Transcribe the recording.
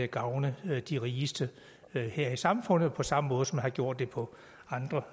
gavne de rigeste her i samfundet på samme måde som man har gjort det på andre